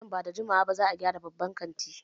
Nan ba da jimawa ba za a gyara babban kantin.